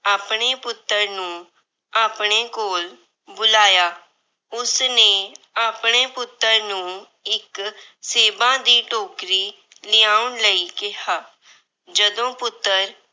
ਆਪਣੇ ਪੁੱਤਰ ਨੂੰ ਆਪਣੇ ਕੋਲ ਬੁਲਾਇਆ। ਉਸਨੇ ਆਪਣੇ ਪੁੱਤਰ ਨੂੰ ਇੱਕ ਸੇਬਾਂ ਦੀ ਟੋਕਰੀ ਲਿਆਉਣ ਲਈ ਕਿਹਾ। ਜਦੋਂ ਪੁੱਤਰ